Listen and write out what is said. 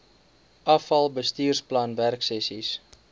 afal bestuursplan werksessies